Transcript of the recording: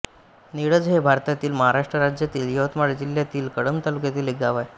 निळज हे भारतातील महाराष्ट्र राज्यातील यवतमाळ जिल्ह्यातील कळंब तालुक्यातील एक गाव आहे